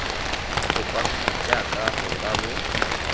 kopanngwe jaaka go ka bo